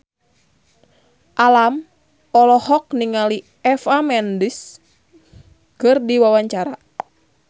Alam olohok ningali Eva Mendes keur diwawancara